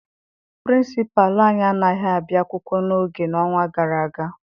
Pịrịnsịpalụ anyị anaghị abịa akwụkwọ n'oge n'ọnwa gara aga.